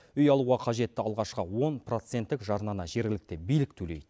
үй алуға қажетті алғашқы он проценттік жарнаны жергілікті билік төлейді